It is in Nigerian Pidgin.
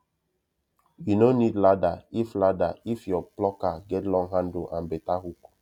you no need ladder if ladder if your plucker get long handle and better hook